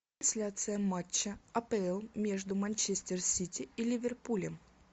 трансляция матча апл между манчестер сити и ливерпулем